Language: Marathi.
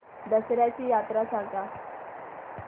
दसर्याची यात्रा सांगा